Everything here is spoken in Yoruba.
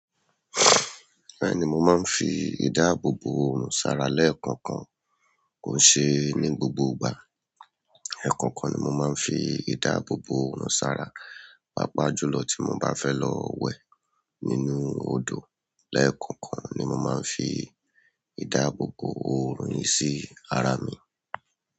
Bẹ́ẹ̀ni, mo máa ń fi ìdáàbòbò oòrùn sara lẹ́ẹ̀kọ̀kan. Kò n ṣe ní gbogbo ìgbà. Ẹ̀kọ̀kan ni mo máa ń fi ìdáàbòbò oòrùn sara. Pápáájùlọ tí mo bá fẹ́ lọ wẹ̀ nínú odò, lẹ́ẹ̀kọ̀kan ni mo máa ń fi ìdáàbòbò oorun yí sí ara mi.